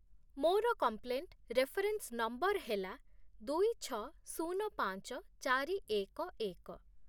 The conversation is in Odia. ମୋର କମ୍ପ୍ଲେଣ୍ଟ୍ ରେଫରେନ୍ସ ନମ୍ବର୍ ହେଲା ଦୁଇ, ଛଅ, ଶୂନ, ପାଞ୍ଚ, ଚାରି, ଏକ, ଏକ ।